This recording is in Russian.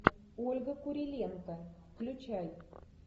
ольга куриленко включай